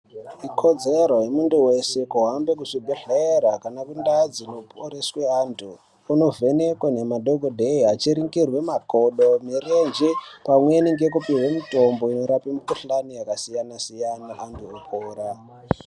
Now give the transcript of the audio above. Ikodzero yemuntu weshe kuhambe kuzvibhedhlera kana kundau dzinoporeswe antu unovhenekwa nemadhokodheya achiringirwe makodo murenje pamweni ngekupihwe mitombo inorape mukhuhlani yakasiyana siyana antu eipora.